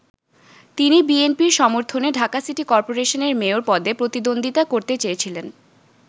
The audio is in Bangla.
তিনি বিএনপির সমর্থনে ঢাকা সিটি করপোরেশনের মেয়র পদে প্রতিদ্বন্দ্বিতা করতে চেয়েছিলেন।